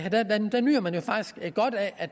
at